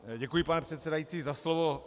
Děkuji, pane předsedající, za slovo.